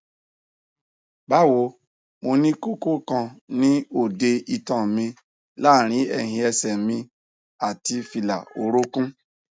bawo mo ni koko kan ni ode itan mi laarin ẹhin ẹsẹ mi ati fila orokun